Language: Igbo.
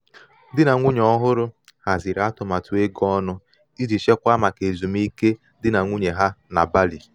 di na nwunye ọhụrụ haziri atụmatụ ego ọnụ iji chekwaa maka ezumike di na nwunye ha na bali.